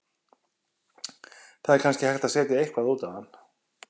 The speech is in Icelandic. Það er kannski hægt að setja eitthvað út á hann.